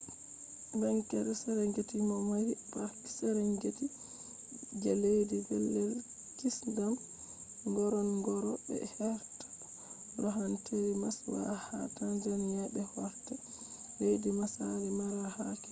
bangeere serengeti do mari park serengeti je leddi pellel kisndam ngorongoro be heerta loohanteeri maswa ha tanzania be bo heerta leddi maasai mara ha kenya